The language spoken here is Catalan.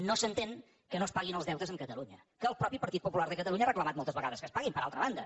no s’entén que no es paguin els deutes amb catalunya que el mateix partit popular de catalunya ha reclamat moltes vegades que es paguin per altra banda